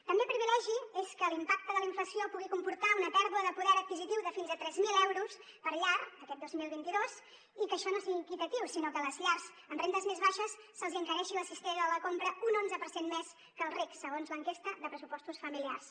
també privilegi és que l’impacte de la inflació pugui comportar una pèrdua de poder adquisitiu de fins a tres mil euros per llar aquest dos mil vint dos i que això no sigui equitatiu sinó que a les llars amb rendes més baixes se’ls encareixi la cistella de la compra un onze per cent més que els rics segons l’enquesta de pressupostos familiars